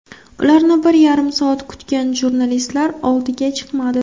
Ularni bir yarim soat kutgan jurnalistlar oldiga chiqmadi.